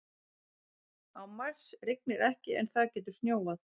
Á Mars rignir ekki en þar getur snjóað.